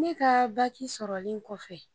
Ne ka baki sɔrɔlen kɔfɛ